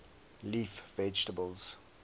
leaf vegetables